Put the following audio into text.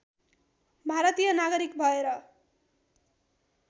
भारतीय नागरिक भएर